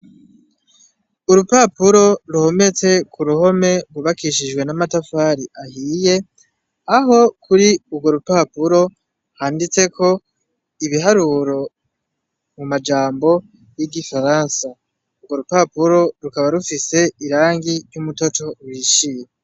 Urupapuro ruhometse k'uruhome rwubakishijwe n'amatafari ahiye, aho kuri urwo rupapuro handitseko ibiharuro mu majambo yig'igifaransa, urwo rupapuro rukaba rufiise irangi ry'umutoto uhishiye.